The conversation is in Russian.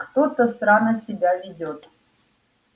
кто-то странно себя ведёт